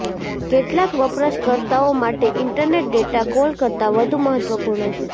કેટલાક વપરાશકર્તાઓ માટે ઇન્ટરનેટ ડેટા કોલ કરતાં વધુ મહત્વપૂર્ણ છે